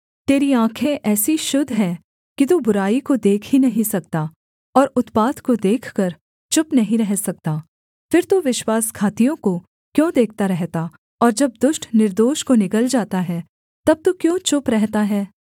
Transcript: तेरी आँखें ऐसी शुद्ध हैं कि तू बुराई को देख ही नहीं सकता और उत्पात को देखकर चुप नहीं रह सकता फिर तू विश्वासघातियों को क्यों देखता रहता और जब दुष्ट निर्दोष को निगल जाता है तब तू क्यों चुप रहता है